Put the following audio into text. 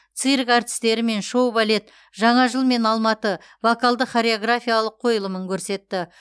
цирк артистері мен шоу балет жаңа жылмен алматы вокалды хореографиялық қойылымын көрсетті